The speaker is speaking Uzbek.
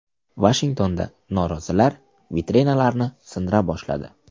Vashingtonda norozilar vitrinalarni sindira boshladi.